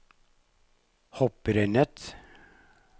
hopprennet